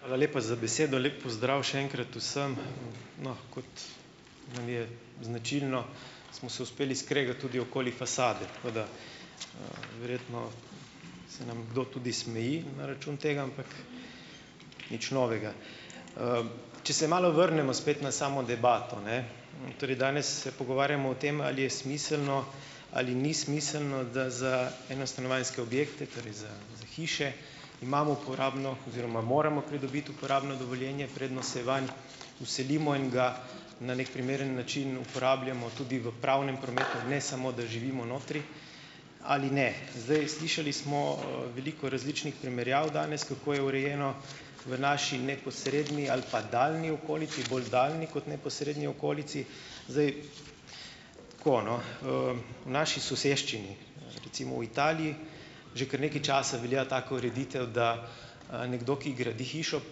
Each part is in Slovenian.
Hvala lepa za besedo. Lep pozdrav še enkrat vsem. No, kot nam je značilno, smo se uspeli skregat tudi okoli fasade. Tako da, - verjetno se nam kdo tudi smeji na račun tega, ampak nič novega. Če se malo vrnemo spet na samo debato, ne. Torej, danes se pogovarjamo o tem, ali je smiselno ali ni smiselno, da za enostanovanjske objekte, torej za za hiše, imamo uporabno - oziroma moramo pridobiti uporabno dovoljenje, preden se vanj vselimo in ga na neki primeren način uporabljamo tudi v pravnem prometu. Ne samo, da živimo notri. Ali ne. Zdaj, slišali smo, veliko različnih primerjav danes, kako je urejeno v naši neposredni ali pa daljni okolici. Bolj daljni kot neposredni okolici. Zdaj, - tako, no. V naši soseščini, recimo v Italiji, že kar nekaj časa velja taka ureditev, da, nekdo, ki gradi hišo,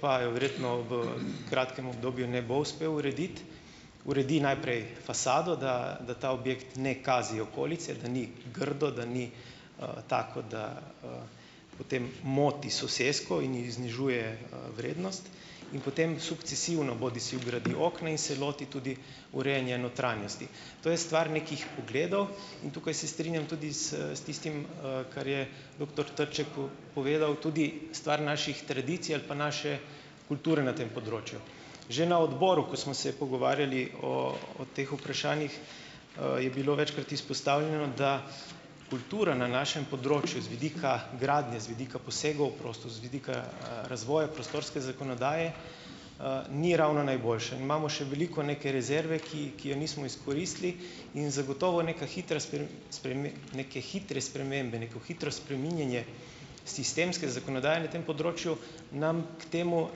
pa je verjetno v kratkem obdobju ne bo uspel urediti - uredi najprej fasado, da, da ta objekt ne kazi okolice, da ni grdo, da ni, tako, da, potem moti sosesko in ji znižuje, vrednost. In potem sukcesivno bodisi vgradi okna in se loti tudi urejanja notranjosti. To je stvar nekih pogledov in tukaj se strinjam tudi s, s tistim, kar je doktor Trček povedal, tudi stvar naših tradicij ali pa naše kulture na tem področju. Že na odboru, ko smo se pogovarjali o, o teh vprašanjih, je bilo večkrat izpostavljeno, da kultura na našem področju z vidika gradnje, z vidika posegov v prostor, z vidika, razvoja prostorske zakonodaje, ni ravno najboljša. In imamo še veliko neke rezerve, ki, ki je nismo izkoristili in zagotovo neka hitra neke hitre spremembe, neko hitro spreminjanje sistemske zakonodaje na tem področju nam k temu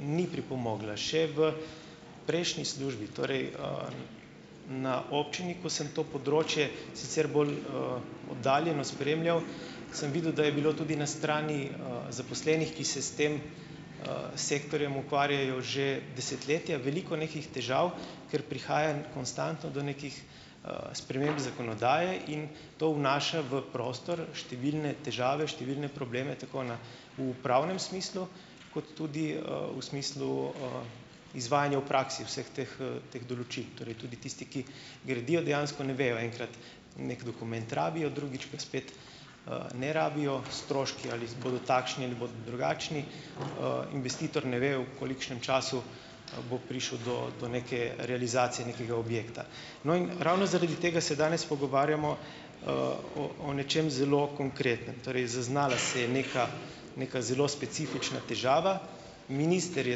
ni pripomogla še v prejšnji službi. Torej, na občini, ko sem to področje sicer bolj, oddaljeno spremljal, sem videl, da je bilo tudi na strani, zaposlenih, ki se s tem, sektorjem ukvarjajo že desetletja, veliko nekih težav, ker prihaja konstantno do nekih, sprememb zakonodaje in to vnaša v prostor številne težave, številne probleme tako na v upravnem smislu kot tudi, v smislu, izvajanja v praksi vseh teh, teh določil. Torej tudi tisti, ki gradijo, dejansko ne vejo, enkrat neki dokument rabijo, drugič pa spet, ne rabijo, stroški, ali bodo takšni ali bodo drugačni, investitor ne ve, v kolikšnem času, bo prišel do, do neke realizacije nekega objekta. No, in ravno zaradi tega se danes pogovarjamo, o, o nečem zelo konkretnem. Torej, zaznala se je neka neka zelo specifična težava, minister je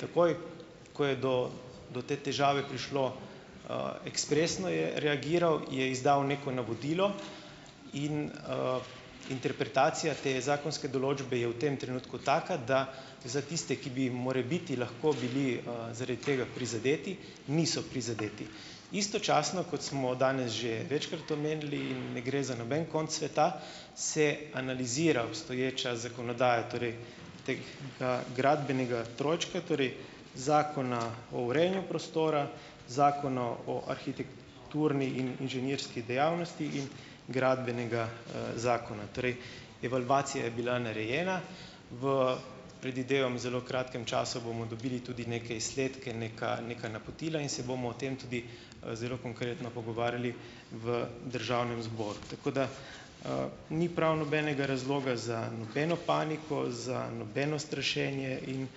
takoj, ko je do do te težave prišlo, ekspresno je reagiral, je izdal neko navodilo in, interpretacija te zakonske določbe je v tem trenutku taka, da za tiste, ki bi morebiti lahko bili, zaradi tega prizadeti, niso prizadeti. Istočasno, kot smo danes že večkrat omenili, in ne gre za noben konec sveta, se analizira obstoječa zakonodaja, torej tega gradbenega trojčka, torej Zakona o urejanju prostora, Zakona o arhitekturni in inženirski dejavnosti in gradbenega, zakona. Torej, evalvacija je bila narejena, v, predvidevam zelo kratkem času bomo dobili tudi neke izsledke, neka neka napotila in se bomo o tem tudi, zelo konkretno pogovarjali v državnem zboru. Tako da, ni prav nobenega razloga za nobeno paniko, za nobeno strašenje in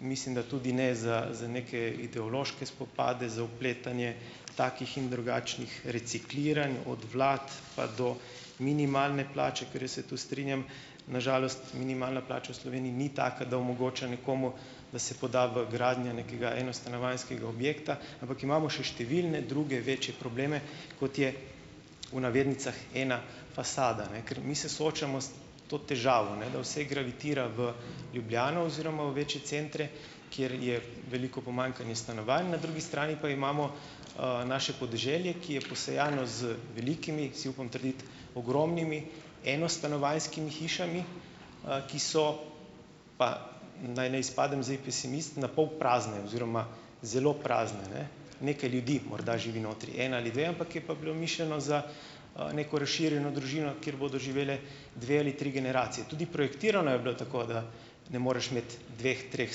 mislim, da tudi ne za za neke ideološke spopade, za vpletanje takih in drugačnih recikliranj od vlad pa do minimalne plače, ker jaz se tu strinjam, na žalost, minimalna plača v Sloveniji ni taka, da omogoča nekomu, da se poda v gradnjo nekega enostanovanjskega objekta, ampak imamo še številne druge večje probleme, kot je, v navednicah, ena fasada, ne. Ker mi se soočamo s to težavo, ne, da vse gravitira v Ljubljano oziroma v večje centre, kjer je veliko pomanjkanje stanovanj, na drugi strani pa imamo, naše podeželje, ki je posejano z velikimi, si upam trditi, ogromnimi enostanovanjskimi hišami, ki so pa, naj ne izpadem zdaj pesimist, na pol prazne oziroma zelo prazne, ne. Nekaj ljudi morda živi notri, en ali dve, ampak je pa bilo mišljeno za, neko razširjeno družino, kjer bodo živele dve ali tri generacije. Tudi projektirano je bilo tako, da ne moreš imeti dveh, treh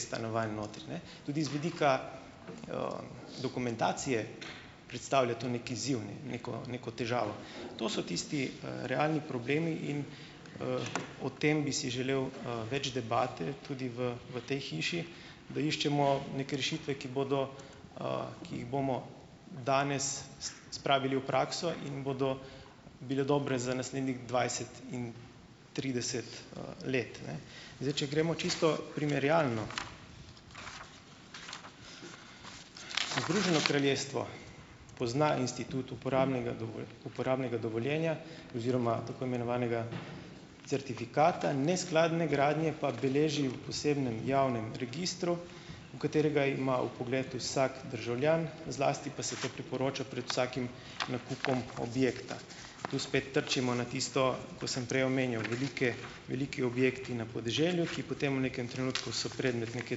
stanovanj notri, ne, tudi z vidika dokumentacije predstavlja to neki izziv, neko neko težavo. To so tisti, realni problemi in, o tem bi si želel, več debate tudi v, v tej hiši, da iščemo neke rešitve, ki bodo, ki jih bomo danes spravili v prakso in bodo bile dobre za naslednjih dvajset in trideset, let, ne. Zdaj, če gremo čisto primerjalno, Združeno kraljestvo pozna institut uporabnega uporabnega dovoljenja oziroma tako imenovanega certifikata, neskladne gradnje pa beleži v posebnem javnem registru, v katerega ima vpogled vsak državljan, zlasti pa se to priporoča pred vsakim nakupom objekta. Tu spet trčimo na tisto, ko sem prej omenjal, velike, veliki objekti na podeželju, ki potem v nekem trenutku so predmet neke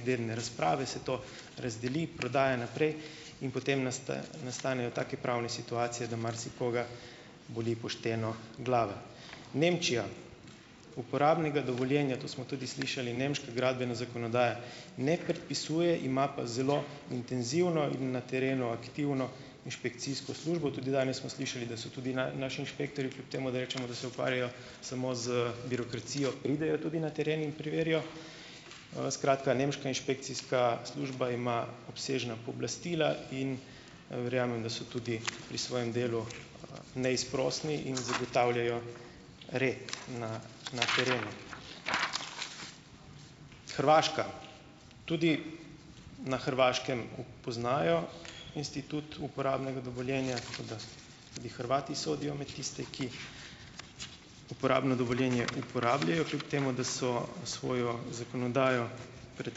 dedne razprave, se to razdeli, prodaja naprej in potem nastanejo take pravne situacije, da marsikoga boli pošteno glava. Nemčija. Uporabnega dovoljenja, to smo tudi slišali, nemška gradbena zakonodaja ne predpisuje, ima pa zelo intenzivno in na terenu aktivno inšpekcijsko službo. Tudi danes smo slišali, da so tudi naši inšpektorji, kljub temu da rečemo, da se ukvarjajo samo z birokracijo, pridejo tudi na teren in preverijo, skratka, nemška inšpekcijska služba ima obsežna pooblastila in verjamem, da so tudi pri svojem delu, neizprosni in zagotavljajo red na na terenu. Hrvaška, tudi na Hrvaškem poznajo institut uporabnega dovoljenja, tako da tudi Hrvati sodijo imeti tiste, ki uporabno dovoljenje uporabljajo, kljub temu da so svojo zakonodajo pred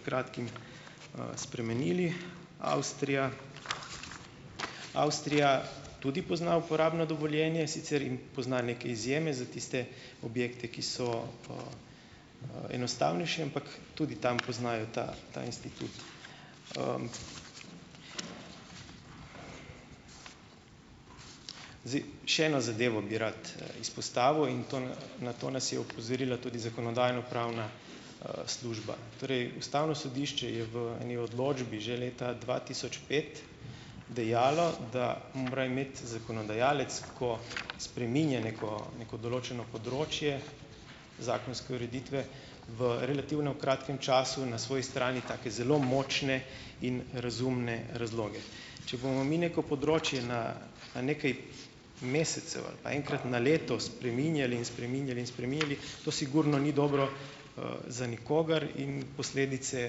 kratkim, spremenili. Avstrija, Avstrija tudi pozna uporabno dovoljenje, sicer jim pozna neke izjeme za tiste objekte, ki so enostavnejši, ampak tudi tam poznajo ta ta institut. Zdaj, še eno zadevo bi rad, izpostavil in to na to nas je opozorila tudi zakonodajno-pravna, služba. Torej ustavno sodišče je v eni odločbi že leta dva tisoč pet dejalo, da mora imeti zakonodajalec, ko spreminja neko, neko določeno področje zakonske ureditve v relativno kratkem času, na svoji strani take zelo močne in razumne razloge. Če bomo mi neko področje na na nekaj mesecev ali pa enkrat na leto spreminjali in spreminjali in spreminjali, to sigurno ni dobro, za nikogar in posledice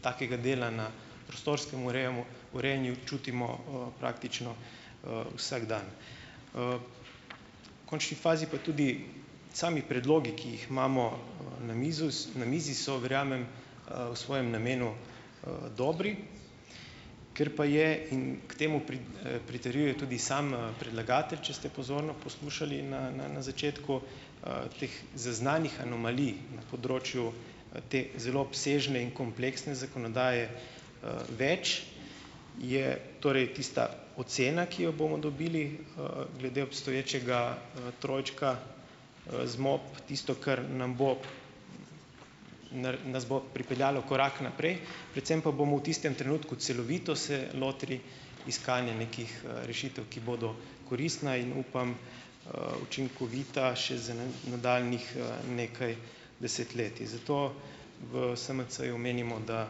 takega dela na prostorskem urejamu urejanju čutimo, praktično, vsak dan. V končni fazi pa tudi sami predlogi, ki jih imamo, na mizo na mizi so, verjamem, v svojem namenu, dobri. Ker pa je in k temu pritrjuje tudi sam, predlagatelj, če ste pozorno poslušali na, na, na začetku, teh zaznanih anomalij na področju, te zelo obsežne in kompleksne zakonodaje, več, je torej tista ocena, ki jo bomo dobili, glede obstoječega, trojčka, tisto, kar nam bo nas bo pripeljalo korak naprej, predvsem pa bomo v tistem trenutku celovito se lotili iskanja nekih, rešitev, ki bodo koristne in, upam, učinkovite še za nadaljnjih, nekaj desetletij. Zato v SMC-ju menimo, da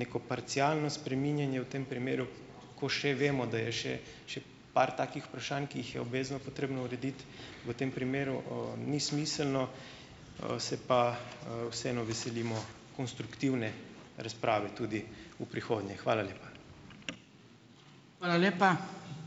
neko parcialno spreminjanje v tem primeru, ko še vemo, da je še še par takih vprašanj, ki jih je obvezno potrebno urediti, v tem primeru, ni smiselno. Se pa, vseeno veselimo konstruktivne razprave tudi v prihodnje. Hvala lepa.